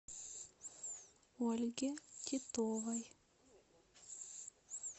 ольге титовой